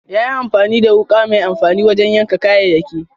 Ya yi amfani da wuka mai amfani wajen yanka kayayyaki.